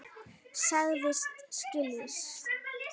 Sagðist skilja.